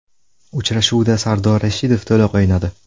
Uchrashuvda Sardor Rashidov to‘liq o‘ynadi.